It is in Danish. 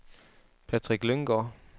Patrick Lynggaard